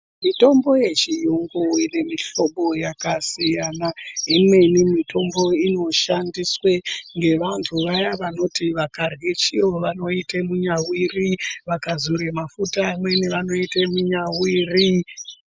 Mitombo uechiyungu ine mihlobo yakasiyana imweni mitombo ino shandiswe ngevanthu vaya vanoti vakarye chiro vanoite munyawiri vakazore mafuta amweni vanoite munyawiri.